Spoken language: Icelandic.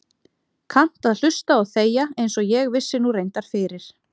Kannt að hlusta og þegja einsog ég vissi nú reyndar fyrir.